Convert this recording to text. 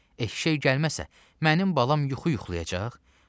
Eşşək gəlməzəsə, mənim balam yuxu yuxlayacaq?